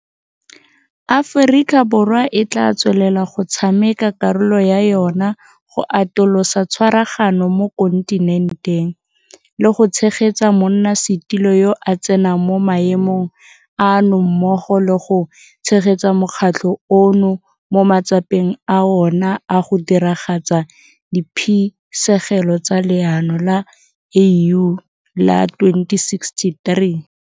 Aforika Borwa e tla tswelela go tshameka karolo ya yona go atolosa tshwaragano mo kontinenteng, le go tshegetsa monnasetulo yo a tsenang mo maemong ano mmogo le go tshegetsa mokgatlho ono mo matsapeng a ona a go diragatsa diphisegelo tsa Leano la AU la 2063.